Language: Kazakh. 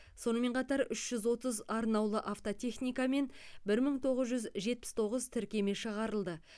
сонымен қатар үш жүз отыз арнаулы автотехника мен бір мың тоғыз жүз жетпіс тоғыз тіркеме шығарылды